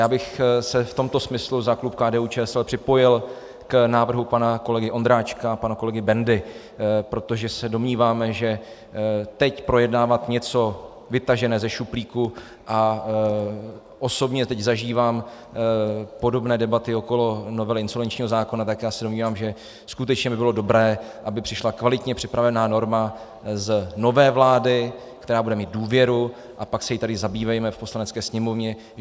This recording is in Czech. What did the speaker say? Já bych se v tomto smyslu za klub KDU-ČSL připojil k návrhu pana kolegy Ondráčka a pana kolegy Bendy, protože se domníváme, že teď projednávat něco vytaženého ze šuplíku, a osobně teď zažívám podobné debaty okolo novely insolvenčního zákona, tak já se domnívám, že skutečně by bylo dobré, aby přišla kvalitně připravená norma z nové vlády, která bude mít důvěru, a pak se jí tady zabývejme v Poslanecké sněmovně.